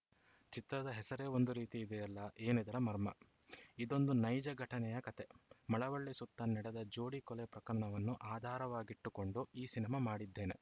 ಚಿತ್ರದ ಹೆಸರೇ ಒಂದು ರೀತಿ ಇದೆಯಲ್ಲ ಏನಿದರ ಮರ್ಮ ಇದೊಂದು ನೈಜ ಘಟನೆಯ ಕಥೆ ಮಳವಳ್ಳಿ ಸುತ್ತ ನಡೆದ ಜೋಡಿ ಕೊಲೆ ಪ್ರಕರಣವನ್ನು ಆಧಾರವಾಗಿಟ್ಟುಕೊಂಡು ಈ ಸಿನಿಮಾ ಮಾಡಿದ್ದೇನೆ